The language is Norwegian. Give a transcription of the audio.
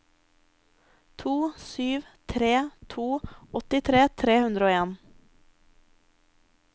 to sju tre to åttitre fire hundre og en